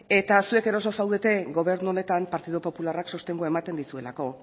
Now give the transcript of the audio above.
eta zuek eroso zaudete gobernu honetan partidu popularrak sostengua ematen dizuelako